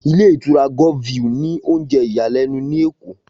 Ilé ìtura Golf view ní oúnjẹ ìyàlẹ́nu ní Èkó